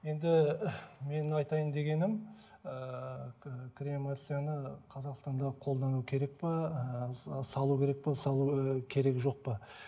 енді менің айтайын дегенім ііі кремацияны қазақстанда қолдану керек пе ыыы салу керек пе салу ы керек жоқ па